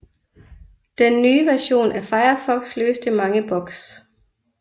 Den nye version af Firefox løste mange bugs